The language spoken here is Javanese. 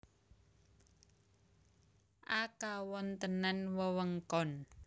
A Kawontenan wewengkon